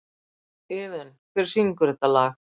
Iðunn, hver syngur þetta lag?